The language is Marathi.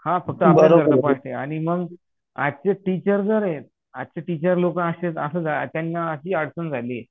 आणि मग आजचे टीचर जर येत आजचे टीचर लोक त्यांना अशी अडचण झाली